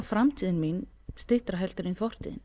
framtíðin mín styttri heldur en fortíðin